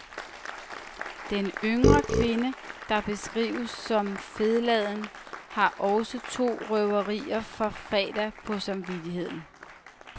Den yngre kvinde, der beskrives som fedladen, har også to røverier fra fredag på samvittigheden.